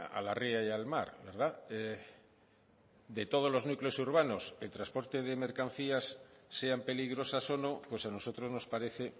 a la ría y al mar de todos los núcleos urbanos el transporte de mercancías sean peligrosas o no pues a nosotros nos parece